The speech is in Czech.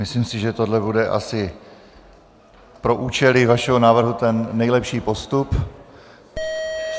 Myslím si, že tohle bude asi pro účely vašeho návrhu ten nejlepší postup.